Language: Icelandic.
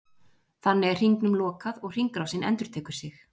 þannig er hringnum lokað og hringrásin endurtekur sig